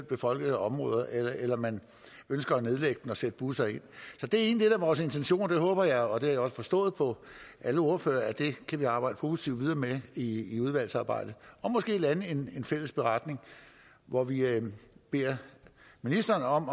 befolkede områder eller eller om man ønsker at nedlægge den og sætte busser ind så det er egentlig er vores intention det håber jeg og det har jeg også forstået på alle ordførere at vi kan arbejde positivt med i i udvalgsarbejdet og måske lande en fælles beretning hvor vi beder ministeren om